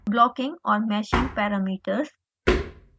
blocking और meshing parameters